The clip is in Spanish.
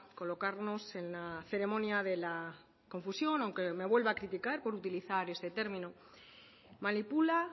colocarnos en la ceremonia de la confusión aunque me vuelva a criticar por utilizar este término manipula